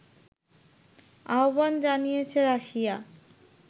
আহ্বান জানিয়েছে রাশিয়া